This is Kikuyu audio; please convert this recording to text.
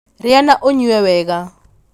rĩa na ũnyue wega